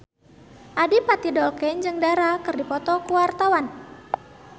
Adipati Dolken jeung Dara keur dipoto ku wartawan